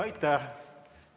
Aitäh!